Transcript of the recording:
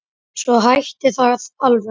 Svo hætti það alveg.